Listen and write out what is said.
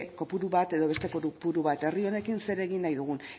kopuru bat edo beste kopuru bat herri honekin zer egin nahi dugun